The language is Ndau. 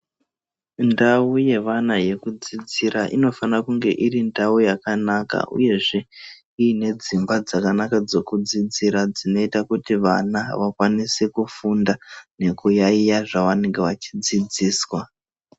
Ndau yevana yekudzidzira inofana kunge iri ndau yakanaka uyezve iine dzimba dzakanaka dzekudzira dzinoita kuti vana vakwanise kufunda nekuyaiye zvavanenge vachidzidziswa.